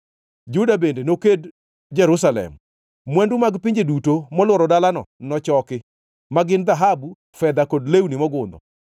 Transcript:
Juda bende noked Jerusalem. Mwandu mag pinje duto molworo dalano nochoki, ma gin dhahabu, fedha kod lewni mogundho.